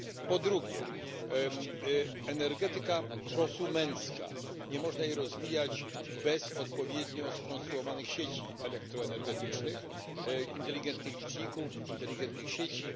Po drugie, energetyka prosumencka, nie można jej rozwijać bez odpowiednio skonstruowanych sieci elektroenergetycznych, inteligentnych liczników, inteligentnych sieci.